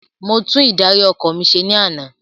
Mo tún ìdarí ọkọ̀ mi se ní ana